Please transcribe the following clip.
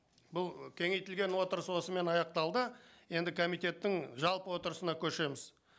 бұл кеңейтілген отырыс осымен аяқталды енді комитеттің жалпы отырысына көшеміз